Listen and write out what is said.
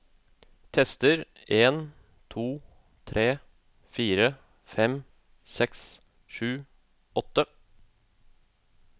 Tester en to tre fire fem seks sju åtte